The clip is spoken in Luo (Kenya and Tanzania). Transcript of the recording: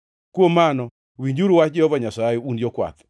“ ‘Kuom mano, winjuru wach Jehova Nyasaye, un jokwath: